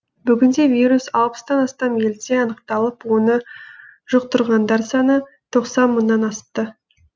бүгінде вирус алыстан астам елде анықталып оны жұқтырғандар саны тоқсан мыңнан асты